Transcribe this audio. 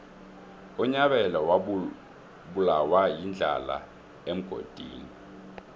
unyabela wabulawa yindlala emgodini